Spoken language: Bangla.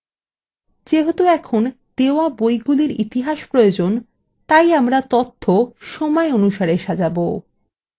যেহেতু আমাদের দেওয়া বইগুলির ইতিহাস প্রয়োজন আমরা এটিকে সময় অনুসারে সাজাব